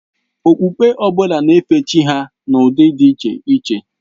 Okpukpe ọ bụla na-efe Chi ha n'ụdị dị iche iche.